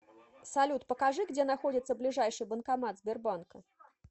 салют покажи где находится ближайший банкомат сбербанка